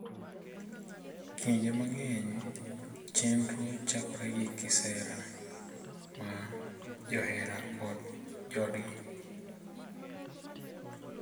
Kinde mang’eny, chenrono chakore gi kisera, ma johera kod joodgi .